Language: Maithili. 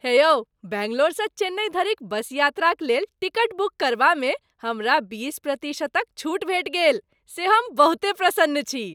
हे यौ! बैंगलोर सँ चेन्नई धरिक बसयात्राक लेल टिकट बुक करबामे हमरा बीस प्रतिशतक छूट भेटि गेल से हम बहुते प्रसन्न छी ।